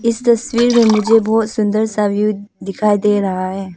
इस तस्वीर में मुझे बहुत सुंदर सा व्यू दिखाई दे रहा है।